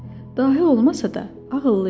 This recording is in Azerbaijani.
Dahi olmasa da, ağıllı idi.